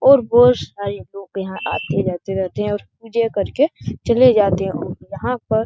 और बहोत सारे लोग यहाँ आते-जाते रहते हैंऔर पूजा करके चले जाते हैंऔर यहां पर --